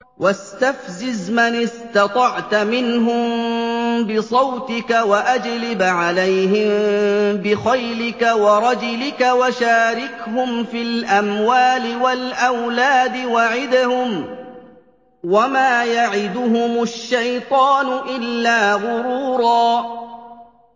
وَاسْتَفْزِزْ مَنِ اسْتَطَعْتَ مِنْهُم بِصَوْتِكَ وَأَجْلِبْ عَلَيْهِم بِخَيْلِكَ وَرَجِلِكَ وَشَارِكْهُمْ فِي الْأَمْوَالِ وَالْأَوْلَادِ وَعِدْهُمْ ۚ وَمَا يَعِدُهُمُ الشَّيْطَانُ إِلَّا غُرُورًا